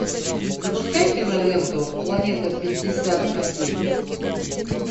запускай киноленту планета пятьдесят один